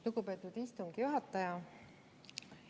Lugupeetud istungi juhataja!